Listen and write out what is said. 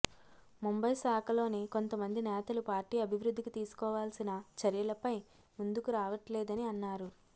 ముంబై శాఖలోని కొంత మంది నేతలు పార్టీ అభివృద్ధికి తీసుకోవాల్సిన చర్యలపై ముందుకు రావట్లేదని అన్నారు